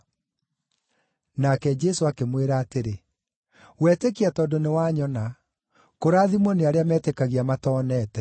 Nake Jesũ akĩmwĩra atĩrĩ, “Wetĩkia tondũ nĩwanyona. Kũrathimwo nĩ arĩa metĩkagia matonete.”